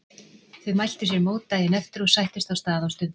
Þau mæltu sér mót daginn eftir og sættust á stað og stund.